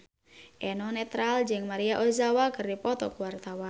Eno Netral jeung Maria Ozawa keur dipoto ku wartawan